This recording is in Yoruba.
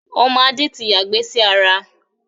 Ọmọ Adé tí ya ìgbẹ́ sí ara